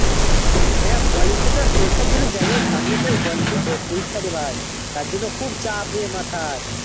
N college তা তো পরীক্ষার জন্য দশ তারিখ থেকে পরীক্ষা জন্য খুব চাপ রে মাথায়